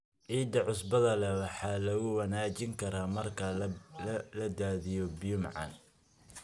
Ciidda cusbada leh waxa lagu wanaajin karaa marka la daadiyo biyo macaan.